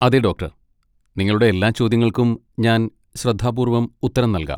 അതെ, ഡോക്ടർ! നിങ്ങളുടെ എല്ലാ ചോദ്യങ്ങൾക്കും ഞാൻ ശ്രദ്ധാപൂർവ്വം ഉത്തരം നൽകാം.